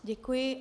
Děkuji.